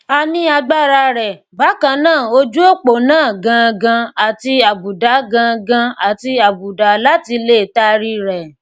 a ni agbara rẹ bakan naa ojuopo naa gangan ati abuda gangan ati abuda lati le taari rẹ